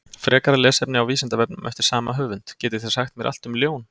Frekara lesefni á Vísindavefnum eftir sama höfund: Getið þið sagt mér allt um ljón?